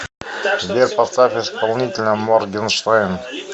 сбер поставь исполнителя моргенштерн